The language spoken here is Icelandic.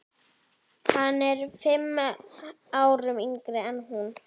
Hann er fimm árum yngri en hún.